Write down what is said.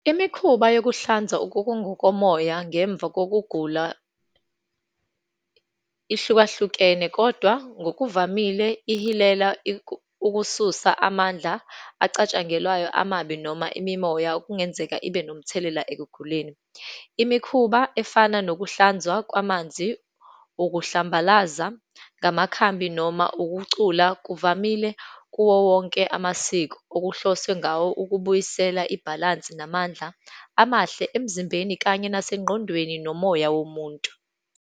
Imikhuba yokuhlanza okungokomoya ngemva kokugula ihlukahlukene, kodwa ngokuvamile ihilela ukususa amandla acatshangelwayo amabi noma imimoya okungenzeka ibe nomthelela ekuguleni. Imikhuba efana nokuhlanzwa kwamanzi, ukuhlambalaza ngamakhambi, noma ukucula, kuvamile kuwo wonke amasiko, okuhloswe ngawo ukubuyisela ibhalansi, namandla amahle emzimbeni, kanye nasengqondweni nomoya womuntu.